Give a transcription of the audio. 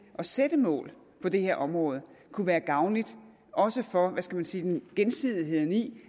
at sætte mål på det her område kunne være gavnligt også for gensidigheden gensidigheden i